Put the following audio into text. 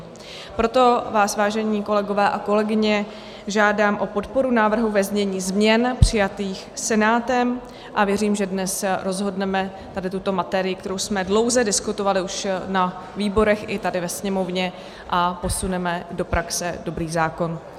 Proto vás, vážení kolegové a kolegyně, žádám o podporu návrhu ve znění změn přijatých Senátem a věřím, že dnes rozhodneme, aby tuto materii, kterou jsme dlouze diskutovali už na výborech i tady ve Sněmovně a posuneme do praxe dobrý zákon.